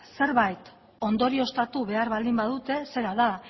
zerbait ondorioztatu behar baldin badute zera da